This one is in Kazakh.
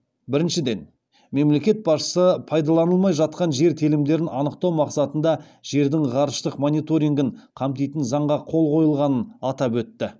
біріншіден мемлекет басшысы пайдаланылмай жатқан жер телімдерін анықтау мақсатында жердің ғарыштық мониторингін қамтитын заңға қол қойылғанын атап өтті